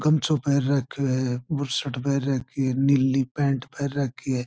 गमछों पहन रखो है बुस्सर्ट पहन रखो है नीली पेण्ट पहन रखो है।